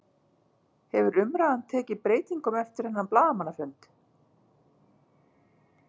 Hefur umræðan tekið breytingum eftir þennan blaðamannafund?